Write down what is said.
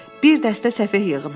Bir dəstə səfeh yığımı.